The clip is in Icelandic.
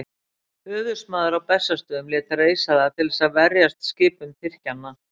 Höfuðsmaður á Bessastöðum lét reisa það til þess að verjast skipum Tyrkjanna.